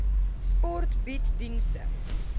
sport bied dienste